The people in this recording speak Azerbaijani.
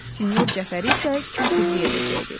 Sinyor Cəfəri isə katiblik edəcəkdi.